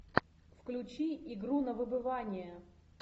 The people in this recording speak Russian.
включи игру на выбывание